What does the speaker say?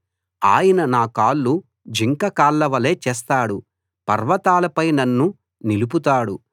ఆయన నా కాళ్లు జింకకాళ్లవలె చేస్తాడు పర్వతాలపై నన్ను నిలుపుతాడు